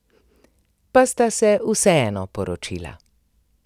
Pa sta se vseeno poročila.